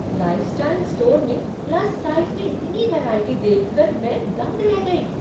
Lifestyle store में plus size में इतनी वैराइटी देख कर मैं दंग रह गई।